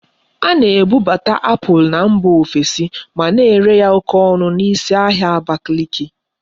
A na-ebubata apple na mba ofesi ma na ere ya oke onu na isi ahia Abakiliki